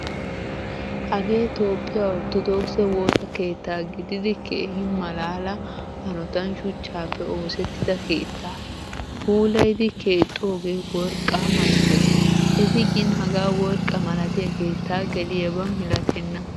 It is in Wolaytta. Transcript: Hagee toophphiyaa orttodokise woosaa keetta gididi keehin malaala hanottan shuchchappe oosettida keetta, puulayidi keexxoge worqqa malattees. Etti gin hagaa worqqa malattiya keetta geliyaba milattena.